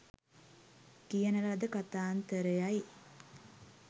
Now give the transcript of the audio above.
කියන ලද කතාන්තර යි.